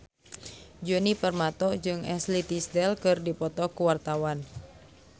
Djoni Permato jeung Ashley Tisdale keur dipoto ku wartawan